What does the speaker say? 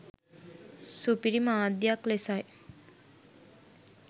සුපිරි මාධ්‍යයක් ලෙසයි.